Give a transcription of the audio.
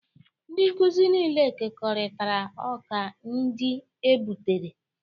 Ndị nkuzi niile kekọrịtara ọka ndị e gbutere